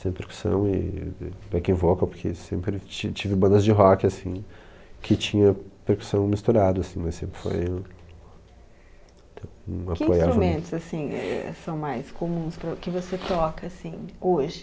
sempre percussão e e backing vocal, porque sempre ti tive bandas de rock, assim, que tinha percussão misturado, assim, mas sempre foi um... T, um apoi... Que instrumentos, assim, eh, são mais comuns pr que você toca, assim, hoje?